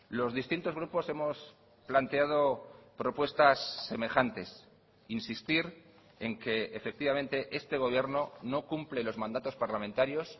los distintos grupos hemos planteado propuestas semejantes insistir en que efectivamente este gobierno no cumple los mandatos parlamentarios